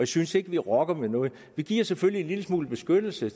synes ikke vi rokker ved noget vi giver selvfølgelig en lille smule beskyttelse